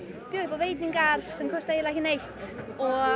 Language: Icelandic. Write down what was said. bjóða upp á veitingar sem kosta eiginlega ekki neitt og